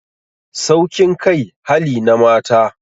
Saukin kai hali na mata